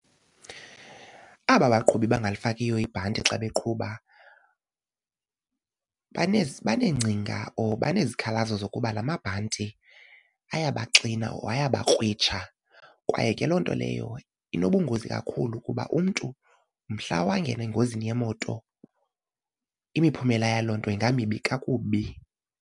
Aba baqhubi bangalifakiyo ibhanti xa beqhuba baneengcinga or banezikhalazo zokuba amabhanti ayabaxina or ayabakrwitsha kwaye ke loo nto leyo inobungozi kakhulu kuba umntu mhla wangena engozini yemoto imiphumela yaloo nto ingamibi kakubi.